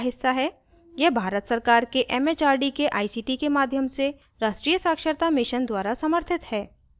यह भारत सरकार के it it आर डी के आई सी टी के माध्यम से राष्ट्रीय साक्षरता mission द्वारा समर्थित है